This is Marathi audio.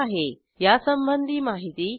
यासंबंधी माहिती पुढील साईटवर उपलब्ध आहे